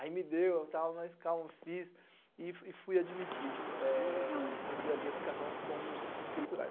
Aí me deu, eu tava mais calmo, fiz e fui admitido no Bradesco Carrão como escriturário.